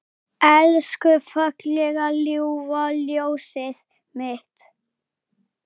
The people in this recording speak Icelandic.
Elsku fallega ljúfa ljósið mitt.